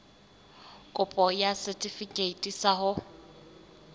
kopo ya setefikeiti sa ho